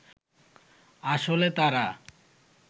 আসলে তারা